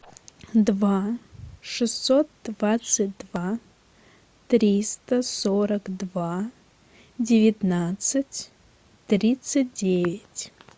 два шестьсот двадцать два триста сорок два девятнадцать тридцать девять